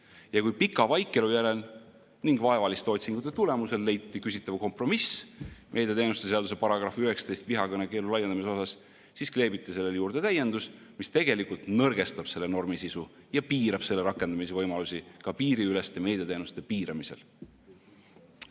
Ja kui pika vaikelu järel ning vaevaliste otsingute tulemusel leiti küsitav kompromiss meediateenuste seaduse § 19 vihakõnekeelu laienemise osas, siis kleebiti sellele juurde täiendus, mis tegelikult nõrgestab selle normi sisu ja piirab selle rakendamise võimalusi ka piiriüleste meediateenuste piiramisel.